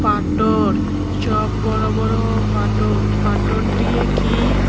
পাটোর সব বড় বড় পাটোর পাটোর ডিয়ে কি --